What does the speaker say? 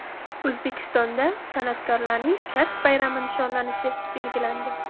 O‘zbekistonda san’atkorlarning kasb bayrami nishonlanishi belgilandi.